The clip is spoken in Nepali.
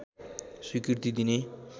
स्वीकृति दिने